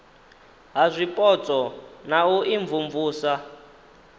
ha zwipotso na u imvumvusa